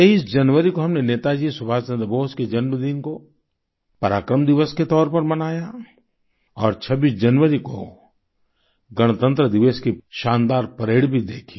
23 जनवरी को हमने नेताजी सुभाष चंद्र बोस के जन्मदिन को पराक्रम दिवस के तौर पर मनाया और 26 जनवरी को गणतन्त्र दिवस की शानदार परेड भी देखी